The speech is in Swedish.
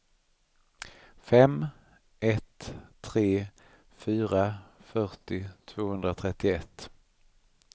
fem ett tre fyra fyrtio tvåhundratrettioett